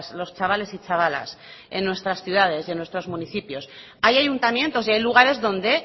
los chavales y chavalas en nuestras ciudades y en nuestros municipios hay ayuntamientos y hay lugares donde